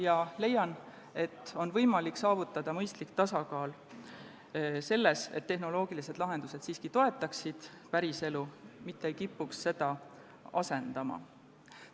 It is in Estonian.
Ma leian, et on võimalik saavutada mõistlik tasakaal, nii et tehnoloogilised lahendused siiski toetaksid päriselu, mitte ei kipuks seda asendama.